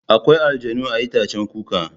Akwai aljannu a itaccen kuka.